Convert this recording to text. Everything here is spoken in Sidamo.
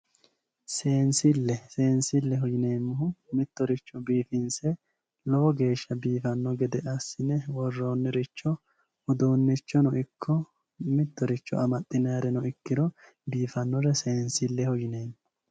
seensille seensilleho yineemmohu mittoricho biifinse ga'ara biifanno gede assine worroonniricho uduunnichonno ikko mittoricho amaxxinayireno ikkiro biifannore seensilleho yinanni